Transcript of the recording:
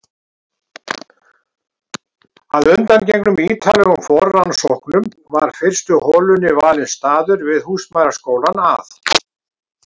Að undangengnum ítarlegum forrannsóknum var fyrstu holunni valinn staður við húsmæðraskólann að